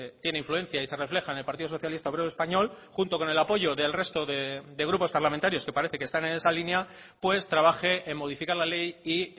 tiene influencia y se refleja en el partido socialista obrero español junto con el apoyo del resto de grupos parlamentarios que parece que están en esa línea pues trabaje en modificar la ley y